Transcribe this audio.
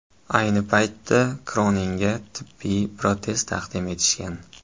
Ayni paytda Kroninga tibbiy protez taqdim etishgan.